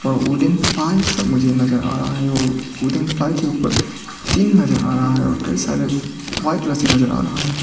सा मुझे नजर आ रहा है जो उधर पाइप के ऊपर टीन नजर आ रहा है और कई सारे व्हाइट रस्सी नजर आ रहा है।